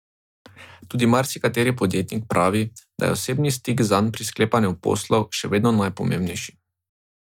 Tudi marsikateri podjetnik pravi, da je osebni stik zanj pri sklepanju poslov še vedno najpomembnejši.